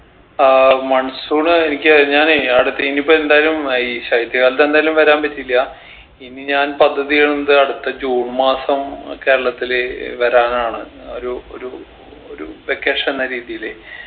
ആഹ് monsoon എനിക്ക് ഞാനേ ആടെത്തി ഇനിയിപ്പോ എന്തായാലും ഈ ശൈത്യകാലത്ത് എന്തായാലും വരാൻ പറ്റില്ല ഇനി ഞാൻ പദ്ധതി ഇടുന്നത് അടുത്ത ജൂൺ മാസം കേരളത്തില് വരാനാണ് ഒരു ഒരു ഒരു vacation ന്ന രീതിയില്